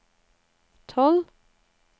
tolv